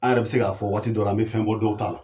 A yɛrɛ be se ka fɔ waati dɔ la, an be fɛn bɔ dɔw ta la.